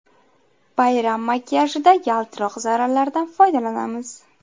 Bayram makiyajida yaltiroq zarralardan foydalanamiz.